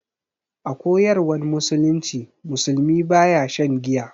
A koyarwan musulunci, musulmi baya shan giya.